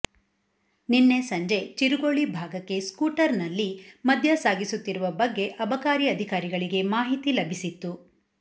ನಿನ್ನೆ ಸಂಜೆ ಚೆರುಗೋಳಿ ಭಾಗಕ್ಕೆ ಸ್ಕೂಟರ್ನಲ್ಲಿ ಮದ್ಯ ಸಾಗಿಸುತ್ತಿರುವ ಬಗ್ಗೆ ಅಬಕಾರಿ ಅಧಿಕಾರಿಗಳಿಗೆ ಮಾಹಿತಿ ಲಭಿಸಿತ್ತು